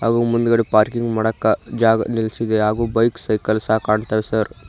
ಹಾಗೂ ಮುಂದ್ಗಡೆ ಪಾರ್ಕಿಂಗ್ ಮಾಡಕ್ಕ ಜಾಗ ನೆಲೆಸಿದೆ ಹಾಗೂ ಬೈಕ್ ಸೈಕಲ್ ಸಹ ಕಾಣ್ತಿದೆ ಸರ್ .